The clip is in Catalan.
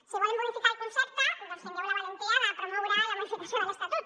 si en volen modificar el concepte doncs tinguin la valentia de promoure la modificació de l’estatut